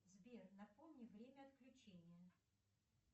сбер напомни время отключения